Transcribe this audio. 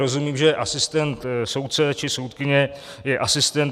Rozumím, že asistent soudce či soudkyně je asistent.